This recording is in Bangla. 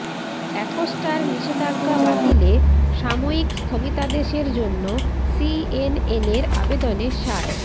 অ্যাকোস্টার নিষেধাজ্ঞা বাতিলে সাময়িক স্থগিতাদেশের জন্য সিএনএনের আবেদনে সায়